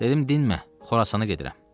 Dedim dinmə, Xorasana gedirəm.